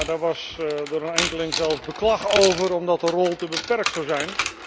Daar was door een enkeling zelfs beklag over, omdat de rol te beperkt zou zijn.